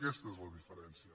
aquesta és la diferència